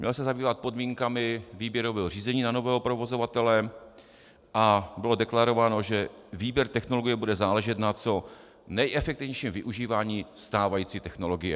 Měl se zabývat podmínkami výběrového řízení na nového provozovatele a bylo deklarováno, že výběr technologie bude záležet na co nejefektivnějším využívání stávající technologie.